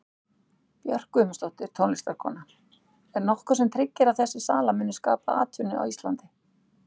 Björk Guðmundsdóttir, tónlistarkona: Er nokkuð sem tryggir að þessi sala muni skapa atvinnu á Íslandi?